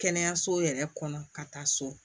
Kɛnɛyaso yɛrɛ kɔnɔ ka taa so